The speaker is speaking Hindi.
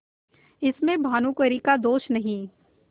इसमें भानुकुँवरि का दोष नहीं